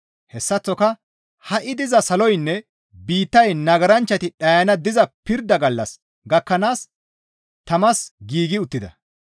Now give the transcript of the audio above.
Hessaththoka ha7i diza saloynne biittay nagaranchchati dhayana diza pirda gallas gakkanaas tamas giigi uttida.